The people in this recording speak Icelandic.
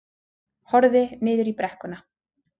Horfði niður í brekkuna.